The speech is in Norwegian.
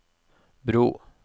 bro